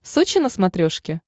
сочи на смотрешке